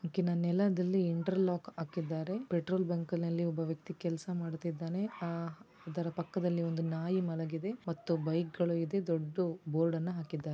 ಕಿನ ನೆಲದಲ್ಲಿ interlock ಹಾಕಿದ್ದಾರೆ petrol ಬಂಕ್ನಲ್ಲಿ ಒಬ್ಬ ವ್ಯಕ್ತಿ ಕೆಲ್ಸ ಮಾಡುತ್ತಿದ್ದಾನೆ ಆಹ್ ಅದರ ಪಕ್ಕದಲ್ಲಿ ಒಂದು ನಾಯಿ ಮಲಗಿದೆ ಮತ್ತು ಬೈಕ್ ಗಳು ಇದೆ ದೊಡ್ಡ್ ಬೋರ್ಡ್ ಅನ್ನ ಹಾಕಿದ್ದಾ --